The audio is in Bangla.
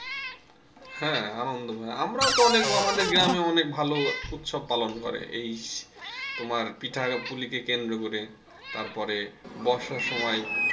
হ্যাঁ আনন্দময় আমরাও তো অনেক আমাদের গ্রামে অনেক ভালো উৎসব পালন করে এই তোমার পিঠা পুলিকে কেন্দ্র করে তারপরে বর্ষার সময়,